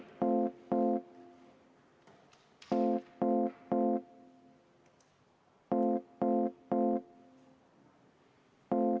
Teine lugemine on lõpetatud.